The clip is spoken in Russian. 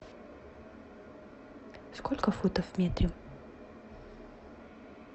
сколько футов в метре